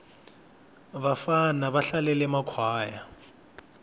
vabvana va hlalele makhwaya